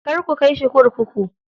Kar ku kai shi kurkuku.